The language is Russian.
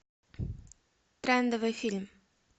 трендовый фильм